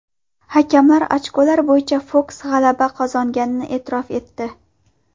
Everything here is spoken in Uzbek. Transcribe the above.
Hakamlar ochkolar bo‘yicha Foks g‘alaba qozonganini e’tirof etdi.